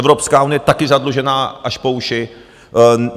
Evropská unie je také zadlužená až po uši.